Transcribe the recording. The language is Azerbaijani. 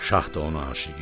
Şah da ona aşiqi idi.